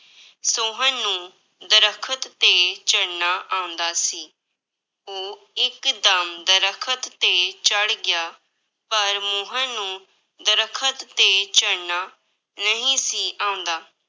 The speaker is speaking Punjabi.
ਸੋਹਨ ਨੂੰ ਦਰੱਖਤ ਤੇ ਚੜ੍ਹਨਾ ਆਉਂਦਾ ਸੀ, ਉਹ ਇੱਕਦਮ ਦਰੱਖਤ ਤੇ ਚੜ੍ਹ ਗਿਆ, ਪਰ ਮੋਹਨ ਨੂੰ ਦਰੱਖਤ ਤੇ ਚੜ੍ਹਨਾ ਨਹੀਂ ਸੀ ਆਉਂਦਾ,